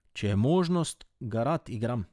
Če je možnost, ga rad igram.